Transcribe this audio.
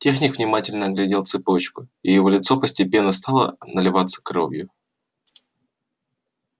техник внимательно оглядел цепочку и его лицо постепенно стало наливаться кровью